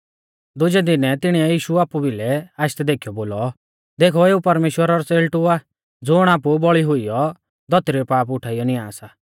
दुजै दिनै तिणिऐ यीशु आपु बिलै आशदै देखीयौ बोलौ देखौ एऊ परमेश्‍वरा रौ च़ेल़टु आ ज़ुण आपु बौल़ी हुइयौ धौतरी रै पाप उठाइयौ नियां सा